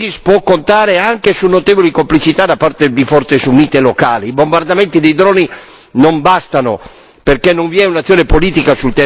I bombardamenti dei droni non bastano, perché non vi è un'azione politica sul territorio per agganciare e far convergere alleati locali.